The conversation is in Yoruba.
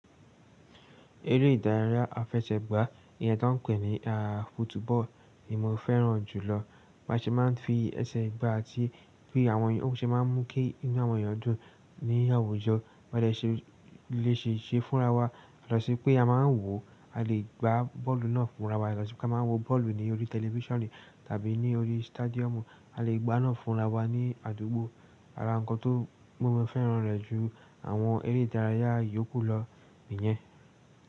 Eré ìdárayá afẹsẹ̀gbá, iyẹ́n tó n pè ní á fútúbọ̀l ni mó fẹ́ràn jùlọ. Báṣe máa n fi ẹsẹ̀ gbá ti, bí àwọn èyàn ó ṣe má n mú kí inú àwọn èyàn dùn ni àwùjọ. Ọ̀dẹ ṣe lèṣe ṣe fúnra wa, lọ sí pé a ma n wò a lè gbá bọ́ọ̀lù náà fúnra wa, lọ sí pé ká má wa wò bọ́ọ̀lù ní orí tẹlifíṣànì tàbí ní orí stádíọ̀mù, a lè gbá náà fúnra wa ní àdúgbò. Ara nǹkan tó mó mọn fẹ́ràn rẹ̀ ju àwọn eré ìdárayá yòókù lọ nìyẹn.